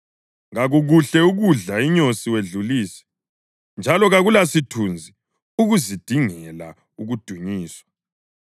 Kakukuhle ukudla inyosi wedlulise, njalo kakulasithunzi ukuzidingela ukudunyiswa.